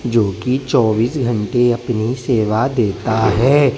जो की चौबीस घंटे अपनी सेवा देता है।